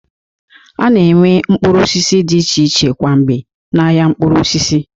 A na-enwe mkpụrụ osisi dị iche iche kwa mgbe n'ahịa mkpụrụ osisi